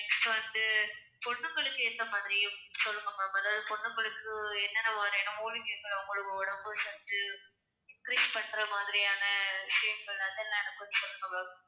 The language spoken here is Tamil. next வந்து பொண்ணுங்களுக்கு எந்த மாதிரியும் சொல்லுங்க ma'am அதாவது பொண்ணுங்களுக்கு என்னென்ன மாதிரியான மூலிகைகள் அவங்களுக்கு உடம்பு சத்து increase பண்ற மாதிரியான விஷயங்கள் அதெல்லாம் எனக்கு கொஞ்சம் சொல்லுங்க ma'am